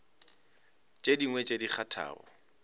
tše dingwe tše di kgathago